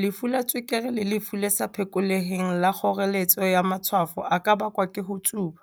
lefu la tswekere le lefu le sa phekoleheng la kgoreletso ya matshwafo a ka bakwa ke ho tsuba.